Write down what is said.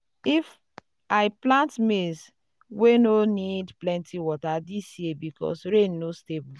i plant maize wey no need plenty water this year because rain no stable.